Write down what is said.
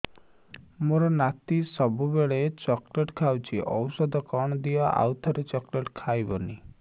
ମୋ ନାତି ସବୁବେଳେ ଚକଲେଟ ଖାଉଛି ଔଷଧ କଣ ଦିଅ ଆଉ ଚକଲେଟ ଖାଇବନି